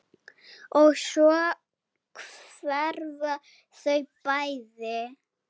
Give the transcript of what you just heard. Og svo hverfa þau bæði.